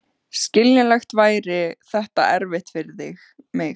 Skiljanlega væri þetta erfitt fyrir mig.